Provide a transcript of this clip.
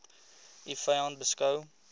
u vyand beskou